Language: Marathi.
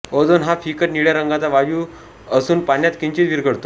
ओझोन हा फिकट निळ्या रंगाचा वायु असूनपाण्यात किंचीत विरघळतो